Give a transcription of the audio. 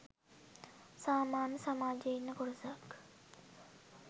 සාමාන්‍ය සමාජයේ ඉන්න කොටසක්.